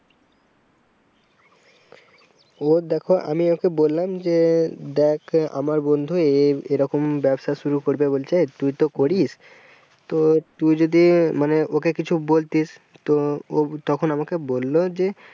ওর দেখো আমি ওকে বললাম যে দেখ আমার বন্ধু এই এই এরকম ব্যবসা শুরু করবে বলছে তুই তো করিস তো তুই যদি মানে ওকে কিছু বলতিস তো ও তখন আমাকে বলল যে,